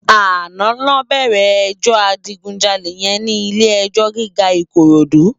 Àná lò bèrè èjò àjigúnjàlé yèn ni ilé èjò gigá Ikorodu